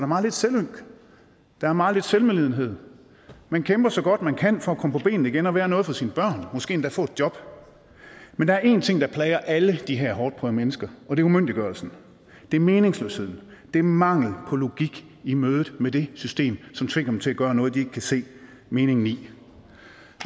meget lidt selvynk der er meget lidt selvmedlidenhed man kæmper så godt man kan for at komme på benene igen og være noget for sine børn måske endda få et job men der er én ting der plager alle de her hårdtprøvede mennesker og det er umyndiggørelsen det er meningsløsheden det er mangelen på logik i mødet med det system som tvinger dem til at gøre noget de ikke kan se meningen i